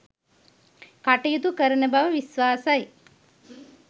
කටයුතු කරන බව විශ්වාසයි